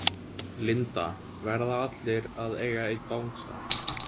Linda: Verða allir að eiga einn bangsa?